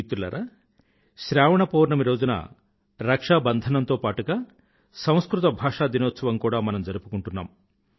మిత్రులారా శ్రావణ పౌర్ణమి రోజున రక్షాబంధనం తో పాటుగా సంస్కృత భాషా దినోత్సవం కూడా మనం జరుపుకుంటున్నాం